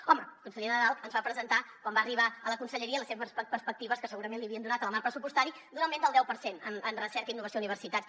home el conseller nadal ens va presentar quan va arribar a la conselleria les seves perspectives que segurament li havien donat en el marc pressupostari d’un augment del deu per cent en recerca i innovació i universitats